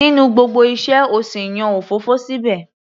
Nínú gbogbo iṣẹ́,o sì yan òfófó síbẹ̀?